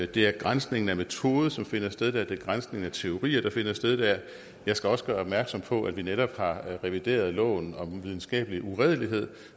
det er granskningen af metode som finder sted der det er granskningen af teorier der finder sted der jeg skal også gøre opmærksom på at vi netop har revideret loven om videnskabelig uredelighed